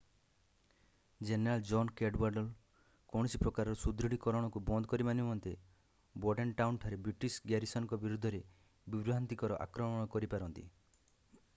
General John Cadwalader କୌଣସି ପ୍ରକାରର ସୁଦୃଢ଼ୀକରଣକୁ ବନ୍ଦ କରିବା ନିମନ୍ତେ ବୋର୍ଡେନ୍‌ଟାଉନ୍‌ଠାରେ ବ୍ରିଟିଶ ଗ୍ୟାରିସନ୍ ବିରୋଧରେ ବିଭ୍ରାନ୍ତକର ଆକ୍ରମଣ କରିପାରନ୍ତି।